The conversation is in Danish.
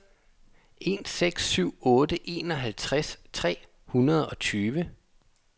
en seks syv otte enoghalvtreds tre hundrede og tyve